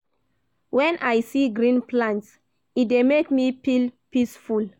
Wen I see green plants, e dey make me feel peaceful.